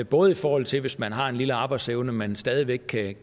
både i forhold til hvis man har en lille arbejdsevne man stadig væk kan